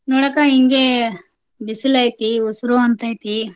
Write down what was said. ನೋಡಕಾ ಹಿಂಗೆ ಬಿಸಲೈತಿ. ಉಸರೂ ಅಂತೈತಿ.